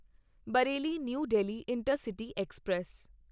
Bareilly new Delhi intercity express